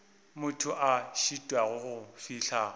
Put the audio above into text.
motho a šitwago go fihla